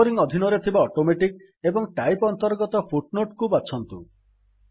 numbering ଅଧିନରେ ଥିବା automatic ଏବଂ ଟାଇପ୍ ଅନ୍ତର୍ଗତ Footnoteକୁ ବାଛନ୍ତୁ